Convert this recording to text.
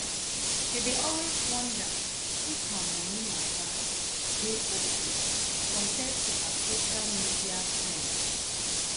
she dey always wonder if her moni matter dey okay compared to her social media friends.